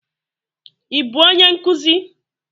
Ị bụ onye nkuzi?